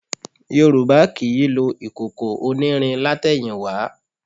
Yorùbá kì í lo ìkòkò onírin látẹ̀yìnwá